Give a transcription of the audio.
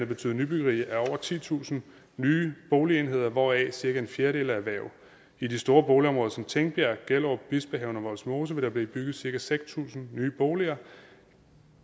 betyde nybyggeri af over titusind nye boligenheder hvoraf cirka en fjerdedel er erhverv i de store boligområder som tingbjerg gellerup bispehaven og vollsmose vil der blive bygget cirka seks tusind nye boliger